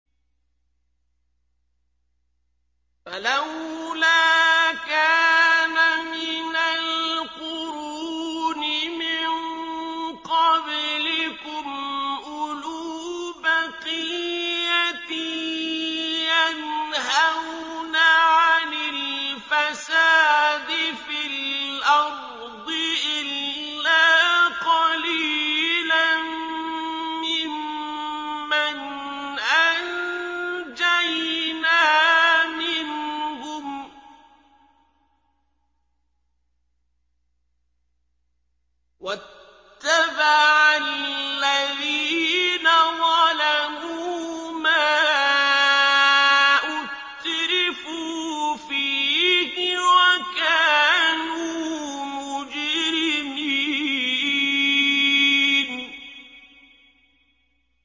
فَلَوْلَا كَانَ مِنَ الْقُرُونِ مِن قَبْلِكُمْ أُولُو بَقِيَّةٍ يَنْهَوْنَ عَنِ الْفَسَادِ فِي الْأَرْضِ إِلَّا قَلِيلًا مِّمَّنْ أَنجَيْنَا مِنْهُمْ ۗ وَاتَّبَعَ الَّذِينَ ظَلَمُوا مَا أُتْرِفُوا فِيهِ وَكَانُوا مُجْرِمِينَ